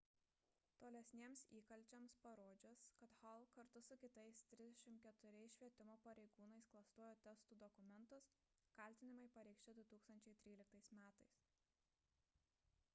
tolesniems įkalčiams parodžius kad hall kartu su kitais 34 švietimo pareigūnais klastojo testų dokumentus kaltinimai pareikšti 2013 m